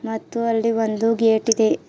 ಮತ್ತು ಅಲ್ಲಿ ಒಂದು ಗೇಟ್ ಇದೆ.